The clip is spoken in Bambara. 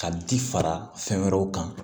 Ka ji fara fɛn wɛrɛw kan